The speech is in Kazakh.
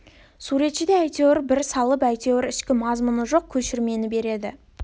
суретші де әйтеуір бір салып әйтеуір ішкі мазмұны жоқ көшірмені береді